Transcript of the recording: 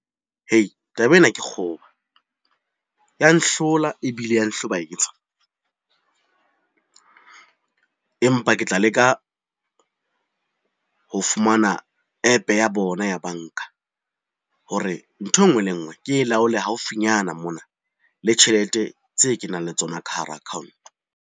Hei taba ena ke kgoba ya nhlola ebile ya nhlobaetsa. Empa ke tla leka ho fumana app-e ya bona ya banka hore, nthwe ngwe le e ngwe ke laole haufinyana mona le tjhelete tse ke nang le tsona ka hara account-o.